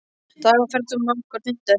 Dagur, ferð þú með okkur á fimmtudaginn?